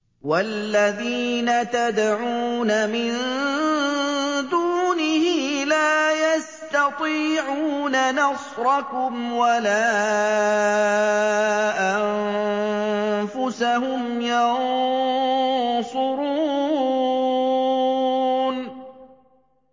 وَالَّذِينَ تَدْعُونَ مِن دُونِهِ لَا يَسْتَطِيعُونَ نَصْرَكُمْ وَلَا أَنفُسَهُمْ يَنصُرُونَ